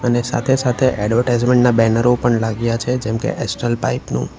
અને સાથે સાથે એડવર્ટાઈઝમેન્ટ ના બેનરો પણ લાગ્યા છે જેમકે એસ્ટ્રલ પાઇપ નું.